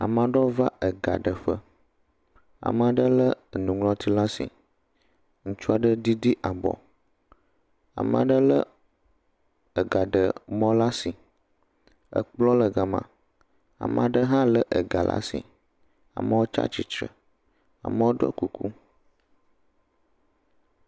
Ame aɖewo va ega ɖeƒe. Ame aɖe le enuŋlɔti ɖe asi. Ŋutsu aɖe ɖiɖi abɔ. Ame aɖe le ageɖemɔ ɖe asi. Ekplɔ le ga ma. Amea ɖe hã le ega ɖe asi amewo tsi atsitre, amewo ɖo kuku.